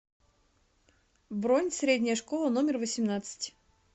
бронь средняя школа номер восемнадцать